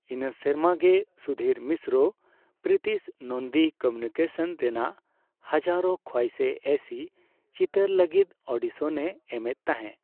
ᱤᱱᱟᱹ ᱥᱮᱨᱢᱟᱜᱮ, ᱥᱩᱫᱷᱤᱨ ᱢᱤᱥᱨᱚ ᱯᱨᱤᱛᱤᱥ ᱱᱚᱱᱫᱤ ᱠᱚᱢᱤᱭᱩᱱᱤᱠᱮᱥᱚᱱᱥ ᱨᱮᱱᱟᱜ ᱦᱟᱡᱟᱨᱳᱸ ᱠᱷᱳᱣᱟᱭᱥᱮ ᱮᱭᱥᱤ ᱪᱤᱛᱟᱹᱨ ᱞᱟᱹᱜᱤᱫ ᱟᱰᱤᱥᱚᱱ ᱮ ᱮᱢᱮᱫ ᱛᱟᱦᱮᱸ ᱾